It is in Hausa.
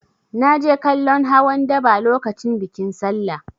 Na je kallon hawan daba lokacin bikin Sallah.